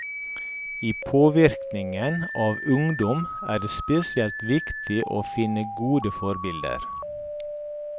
I påvirkningen av ungdom er det spesielt viktig å finne gode forbilder.